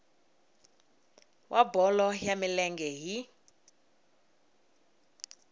wa bolo ya milenge hi